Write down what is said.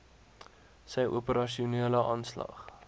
sy operasionele aanslag